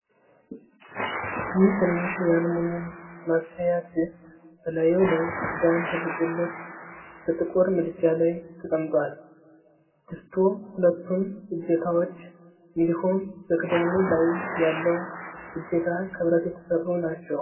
ይህ ትንሽ የአልሙኒየም ማብሰያ ድስት በላዩ ላይ ክዳን ተደርጎለት በጥቁር ምድጃ ላይ ተቀምጧል። ድስቱ ሁለቱም እጀታዎች እንዲሁም በክዳኑ ላይ ያለው እጀታ ከብረት የተሠሩ ናቸው።